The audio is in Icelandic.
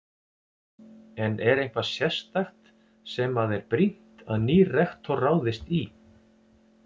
En er eitthvað sérstakt sem að er brýnt að nýr rektor ráðist í?